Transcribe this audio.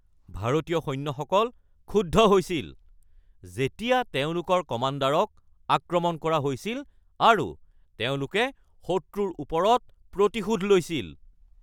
ভাৰতীয় সৈন্যসকল ক্ষুব্ধ হৈছিল যেতিয়া তেওঁলোকৰ কমাণ্ডাৰক আক্ৰমণ কৰা হৈছিল আৰু তেওঁলোকে শত্ৰুৰ ওপৰত প্ৰতিশোধ লৈছিল।